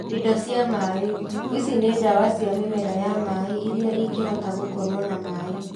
Indo cia maĩ: ici nĩ ndawa cia mĩmera ya maĩ iria ingĩhota gũkorwo na maĩ